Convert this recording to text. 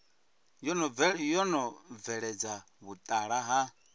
yo no bveledza vhutala ha